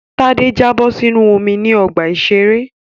Tádé jábọ̀ sínú omi ní ọgbà-ìṣeré